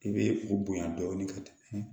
I bɛ o bonya dɔɔnin ka taa